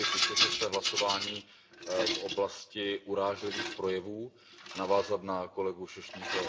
Chtěl bych vysvětlit své hlasování v oblasti urážlivých projevů a navázat na kolegu Sośnierze.